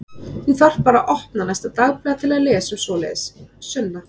Þú þarft bara að opna næsta dagblað til að lesa um svoleiðis, Sunna.